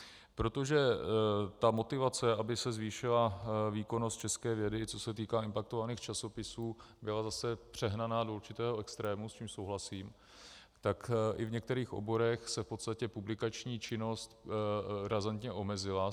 Protože ta motivace, aby se zvýšila výkonnost české vědy, co se týká impaktovaných časopisů, byla zase přehnaná do určitého extrému, s tím souhlasím, tak i v některých oborech se v podstatě publikační činnost razantně omezila.